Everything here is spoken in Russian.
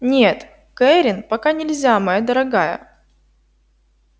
нет кэррин пока нельзя моя дорогая